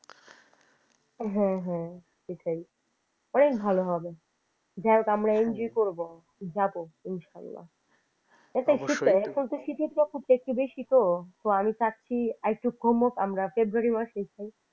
হ্যাঁ হ্যাঁ সেটাই অনেক ভালো হবে যাইহোক আমরা enjoy করবো। যাবো ইনশাআল্লাহ এখন তো শীতকাল শীতের প্রকোপ টা একটু বেশি তো তো আমি চাইছি আর একটু কমুক তারপর ফেব্রুয়ারি মাসেই যাই।